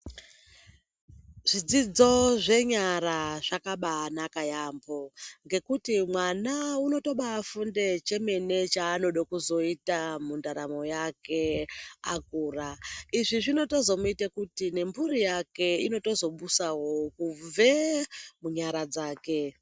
Zvidzodzo zvenyara zvakabanaka yambo ngekuti mwana unombafunde chemene chaanode kuzoita mundaramo yake akura akura ,izvi zvitozomuita kuti mpuri yake ibusewo kubva munyara dzake.